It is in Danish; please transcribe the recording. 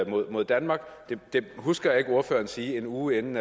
mod mod danmark men det husker jeg ikke ordføreren sagde en uge inden